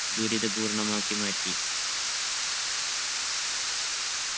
ദുരിതപൂർണ്ണമാക്കി മാറ്റി